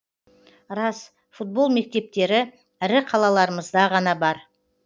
рас футбол мектептері ірі қалаларымызда ғана бар